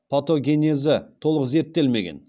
патогенезі толық зерттелмеген